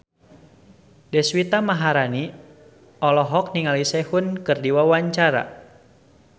Deswita Maharani olohok ningali Sehun keur diwawancara